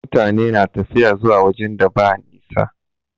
Mutane na tafiya zuwa wajen da ba nisa.